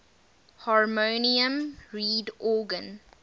harmonium reed organ